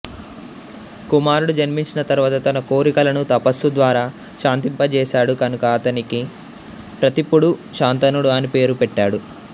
కుమారుడు జన్మించిన తరువాత తన కోరికలను తపస్సు ద్వారా శాంతింపజేసాడు కనుక అతనికి ప్రతీపుడు శంతనుడు అని పేరు పెట్టాడు